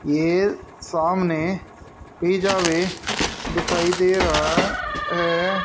ये सामने पिज़्ज़ा वे दिखाई दे रहा है।